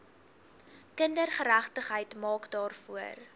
kindergeregtigheid maak daarvoor